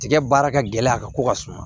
Tigɛ baara ka gɛlɛn a ka ko ka suma